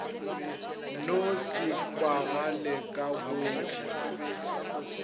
no se kwagale ka gohle